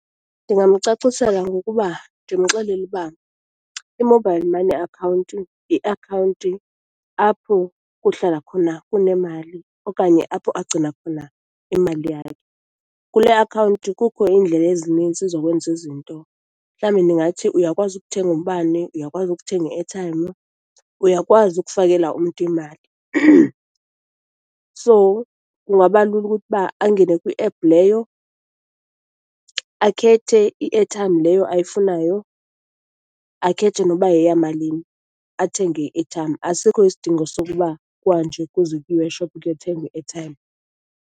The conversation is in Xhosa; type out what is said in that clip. Ndingamcacisela ngokuba, ndimxelele uba i-mobile money account yiakhawunti apho kuhlala khona kunemali, okanye apho agcina khona imali yakhe. Kule akhawunti kukho iindlela ezininzi zokwenza izinto, mhlawumbi ndingathi uyakwazi ukuthenga umbane, uyakwazi ukuthenga i-airtime, uyakwazi ukufakela umntu imali. So, kungaba lula ukuthi uba angene kwiephu leyo, akhethe i-airtime leyo ayifunayo, akhethe noba yeyamalini, athenge i-airtime. Asikho isidingo sokuba kuhanjwe kuze kuyiwe eshophu kuyothengwa i-airtime.